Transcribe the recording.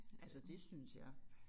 Altså det synes jeg